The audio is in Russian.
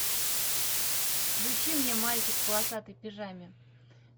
включи мне мальчик в полосатой пижаме